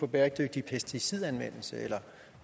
bæredygtig pesticidanvendelse eller